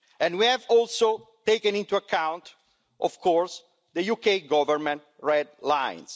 We have also taken into account, of course, the UK Government red lines.